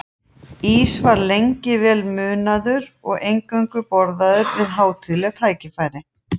Ís var lengi vel munaður og eingöngu borðaður við hátíðleg tækifæri.